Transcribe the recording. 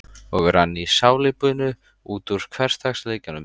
Og rann í salíbunu út úr hversdagsleikanum.